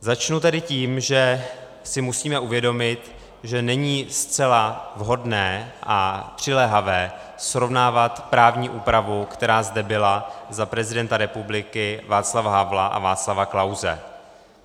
Začnu tedy tím, že si musíme uvědomit, že není zcela vhodné a přiléhavé srovnávat právní úpravu, která zde byla za prezidenta republiky Václava Havla a Václava Klause.